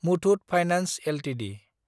Muthoot finance Ltd